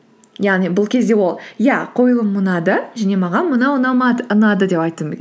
яғни бұл кезде ол иә қойылым ұнады және маған мынау ұнады деп айтуы